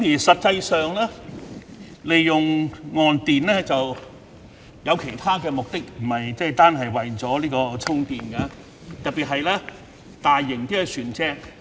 實際上，岸電並非純粹供渡輪充電，亦可作其他用途，特別是大型船隻。